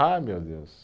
Ah, meu Deus!